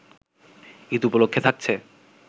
ঈদ উপলক্ষে থাকছে